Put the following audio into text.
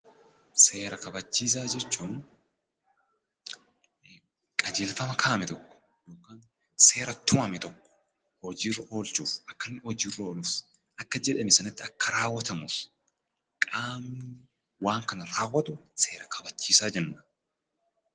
Seera kabachiisaa jechuun qajeelfama kaa'ame tokko yookan seera tumame tokko hojiirra oolchuuf, akkanni hojiirra ooluf, akka jedhame sanatti akka raawwatamuuf qaamni waan kana raawwatu seera kabachiisaa jenna.